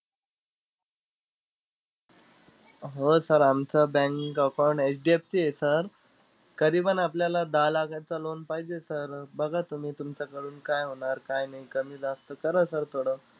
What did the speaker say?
हो sir आमचं bank account HDFC आहे sir करीएबन आपल्याला दहा लाखाचं loan पाहिजे sir. बघा तुम्ही तुमच्याकडून काय होणार काय नाही, कमी जास्त करा sir थोडं.